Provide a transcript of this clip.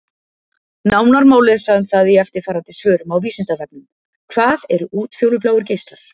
Nánar má lesa um það í eftirfarandi svörum á Vísindavefnum: Hvað eru útfjólubláir geislar?